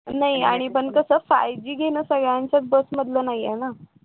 नाही आणि पण कसं five G घेन सगळ्यांच्याच बस मधलं नाहीये ना